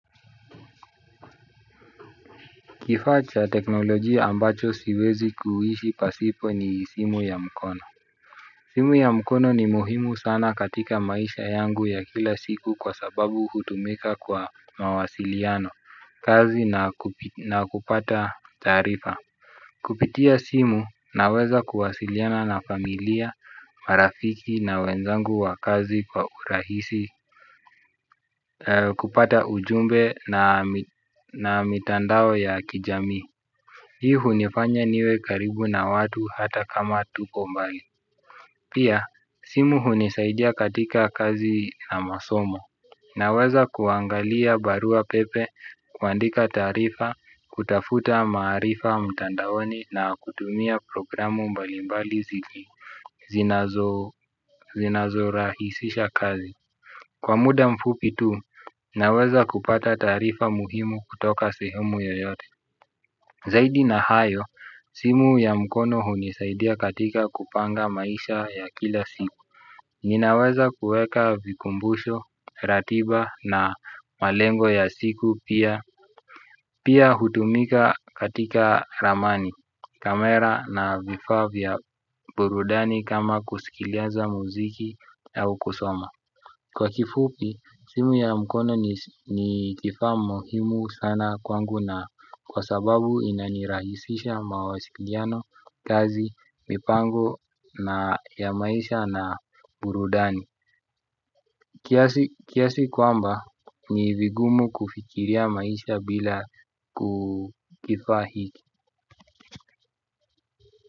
Kifaa cha teknolojia ambacho siwezi kuishi pasipo ni simu ya mkono. Simu ya mkono ni muhimu sana katika maisha yangu ya kila siku kwa sababu hutumika kwa mawasiliano, kazi na kupata taarifa. Kupitia simu na weza kuwasiliana na familia, marafiki na wenzangu wa kazi kwa urahisi, kupata ujumbe na mitandao ya kijamii. Hii unifanya niwe karibu na watu hata kama tuko mbali. Pia, simu unisaidia katika kazi na masomo. Naweza kuangalia barua pepe, kuandika taarifa, kutafuta maarifa mtandaoni na kutumia programu mbali mbali zinazo zinazo ra hisisha kazi. Kwa muda mfupi tu, naweza kupata taarifa muhimu kutoka sehemu yoyote. Zaidi na hayo, simu ya mkono hunisaidia katika kupanga maisha ya kila siku. Ninaweza kuweka vikumbusho, ratiba na malengo ya siku pia. Pia hutumika katika ramani, kamera na vifaavya burudani kama kuskileza muziki au kusoma. Kwa kifupi, simu ya mkono ni kifaa muhimu sana kwangu na kwa sababu inanirahisisha mawasikiliano, kazi, mipango ya maisha na burudani. Kiasi kwamba, ni vigumu kufikiria maisha bila ku kifaa hiki.